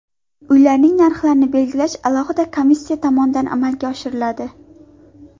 Uylarning narxlarini belgilash alohida komissiya tomonidan amalga oshiriladi.